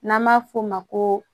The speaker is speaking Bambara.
N'an b'a f'o ma ko